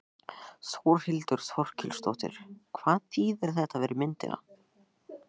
Þórhildur Þorkelsdóttir: Hvað þýðir þetta fyrir myndina?